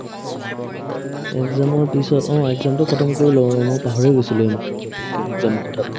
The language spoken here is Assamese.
exam ৰ পিছত অ exam টো khatam কৰি লও ৰহ্ মই পাহৰিয়ে গৈছিলো এইমাত্ৰ ঘপককে exam ৰ কথাতো